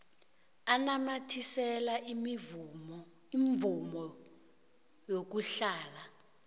anamathisele imvumo yokuhlala